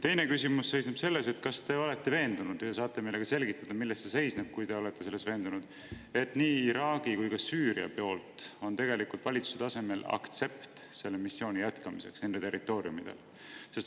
Teine küsimus seisneb selles, et kas te olete veendunud ja kui olete, siis kas saate meile, et nii Iraagi kui ka Süüria poolt on tegelikult valitsuse tasemel aktsept selle missiooni jätkamiseks nende territooriumidel.